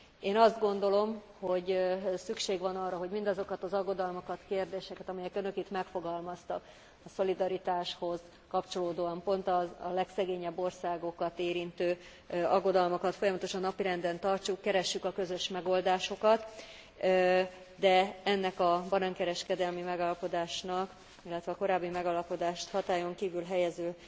Én azt gondolom, hogy szükség van arra, hogy mindazokat az aggodalmakat, kérdéseket, amiket önök itt megfogalmaztak a szolidaritáshoz kapcsolódóan, pont a legszegényebb országokat érintő aggodalmakat, folyamatosan napirenden tartsuk, keressük a közös megoldásokat, de ennek a banánkereskedelmi megállapodásnak, illetve a korábbi megállapodást hatályon kívül helyező